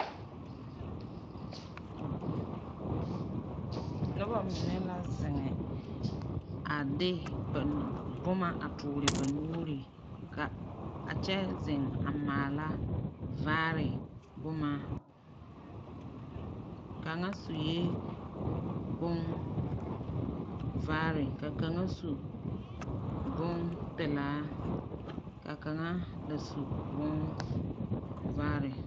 Noba mine la zeŋe a de ba boma a toore ba nuuri, ka a kyɛ zeŋ a maala vaare boma. Kaŋa sue bonvaare ka kaŋa su bompelaa, ka kaŋa da su bonvaare.